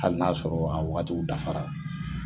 Hali n'a y'a sɔrɔ a wagatiw dafara.